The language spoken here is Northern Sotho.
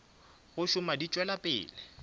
go šoma di tšwela pele